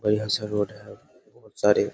बढ़िया सा रोड है बहुत सारे --